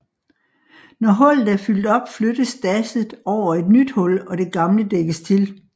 Når hullet er fyldt op flyttes dasset over et nyt hul og det gamle dækkes til